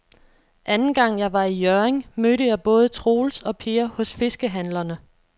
Anden gang jeg var i Hjørring, mødte jeg både Troels og Per hos fiskehandlerne.